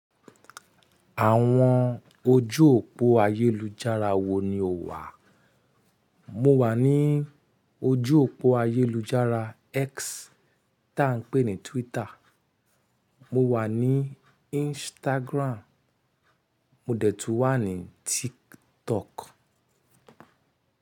Àwọn ojú òpó ayélujára wo ni o wà? Mo wà ní ojú òpó ayélujára X tá ń pè ní Twitter, mo wà ní Instagram, mo dẹ̀ tún wà ní TikTok.